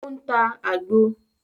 O ń tá àgbo